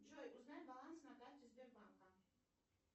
джой узнай баланс на карте сбербанка